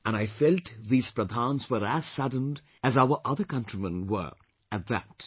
And I felt these Pradhans were as saddened as our other countrymen were, at that